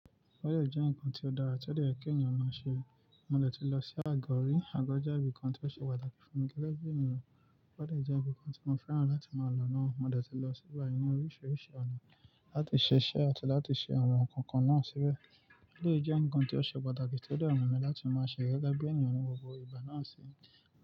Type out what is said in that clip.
Bọ́dẹ̀ jẹ́ ǹkan tí ó dára, tí ó yẹ kí ènìyàn máa ṣe. Mo dẹ̀ ti lọ sí Àgọ́, rí Àgọ́ jẹ́ ibi kan tí ó ṣe pàtàkì fún mi gẹ́gẹ́ bí ènìyàn. O dẹ jẹ́ ibi kan tí mo fẹ́ran láti máa lọ náà. Mo dẹ̀ ti lọ síbẹ ní oríṣiríṣi ọ̀nà láti ṣe iṣẹ́ àti láti ṣe àwọn nǹkan kan náà síbẹ̀. Eléyìí jẹ́ ǹkan tí ó ṣe pàtàkì tí ó dẹ mu mi láti máa ṣe gẹ́gẹ́ bí ènìyàn ní gbogbo ìgbà náà si.